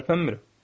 Tərpənmirəm.